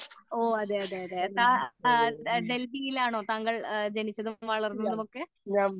ഓ അതേ അതേ അതേ ആ ഡൽഹിയിൽ ആണോ താങ്കൾ ജനിച്ചതും വളർന്നതും ഒക്കെ